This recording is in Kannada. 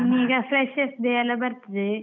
ಈಗ freshers day ಯಲ್ಲಾ ಬರ್ತದೆ.